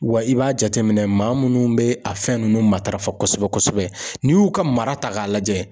Wa i b'a jateminɛ maa munnu bɛ a fɛn nunnu matarafa kosɛbɛ kosɛbɛ n'i y'u ka mara ta k'a lajɛ